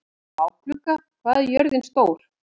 Bláklukka, hvað er jörðin stór?